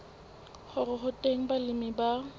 hore ho teng balemi ba